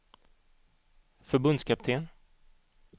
förbundskapten